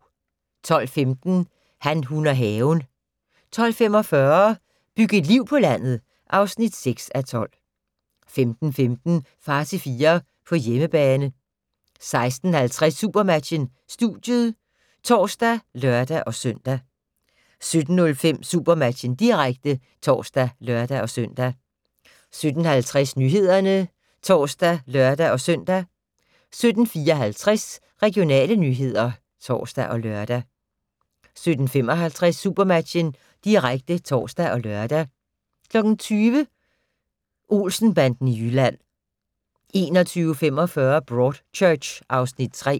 12:15: Han, hun og haven 12:45: Byg et liv på landet (6:12) 15:15: Far til fire - på hjemmebane 16:50: SuperMatchen: Studiet (tor og lør-søn) 17:05: SuperMatchen, direkte (tor og lør-søn) 17:50: Nyhederne (tor og lør-søn) 17:54: Regionale nyheder (tor og lør) 17:55: SuperMatchen, direkte (tor og lør) 20:00: Olsen-banden i Jylland 21:45: Broadchurch (Afs. 3)